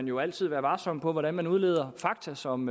jo altid være varsom med hvordan man udleder fakta som